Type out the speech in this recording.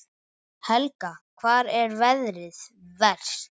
Helga: Hvar er veðrið verst?